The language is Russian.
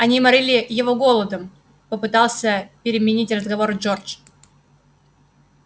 они морили его голодом попытался переменить разговор джордж